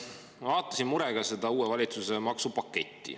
Ma vaatasin murega seda uue valitsuse maksupaketti.